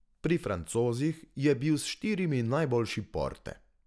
Pri Francozih je bil s štirimi najboljši Porte.